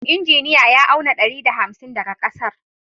Injiniya ya auna ɗari da hamsin daga ƙasar